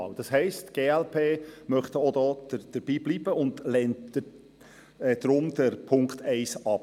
Die glp möchte dabei bleiben und lehnt deshalb die Ziffer 1 ab.